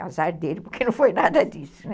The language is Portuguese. Azar dele, porque não foi nada disso, né?